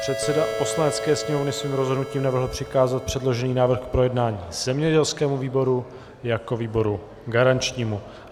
Předseda Poslanecké sněmovny svým rozhodnutím navrhl přikázat předložený návrh k projednání zemědělskému výboru jako výboru garančnímu.